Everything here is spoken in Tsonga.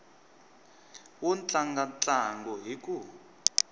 wo tlanga ntlangu hi ku